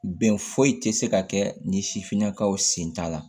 Bɛn foyi te se ka kɛ ni sifinnakaw sen ta la